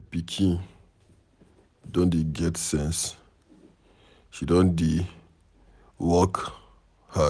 My pikin don dey get sense, she don dey work hard.